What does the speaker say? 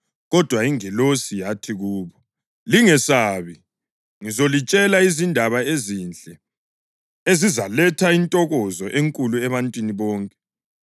Kodwa ingilosi yathi kubo, “Lingesabi. Ngizolitshela izindaba ezinhle ezizaletha intokozo enkulu ebantwini bonke.